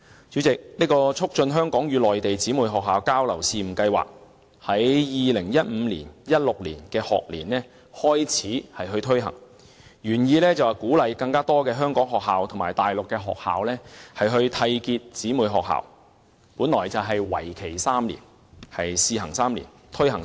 主席，這項"促進香港與內地姊妹學校交流試辦計劃"在 2015-2016 學年開始推行，原意是鼓勵更多香港學校與大陸學校締結成為姊妹學校，為期3年，屬試辦性質。